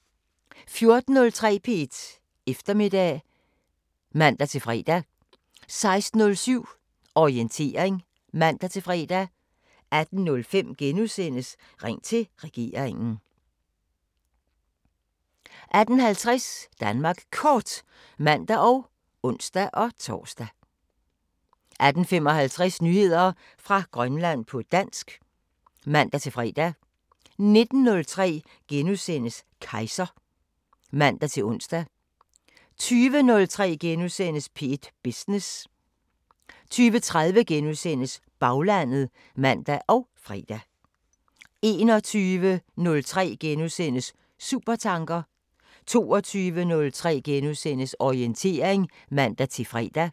14:03: P1 Eftermiddag (man-fre) 16:07: Orientering (man-fre) 18:05: Ring til regeringen * 18:50: Danmark Kort (man og ons-tor) 18:55: Nyheder fra Grønland på dansk (man-fre) 19:03: Kejser *(man-ons) 20:03: P1 Business * 20:30: Baglandet *(man og fre) 21:03: Supertanker * 22:03: Orientering *(man-fre)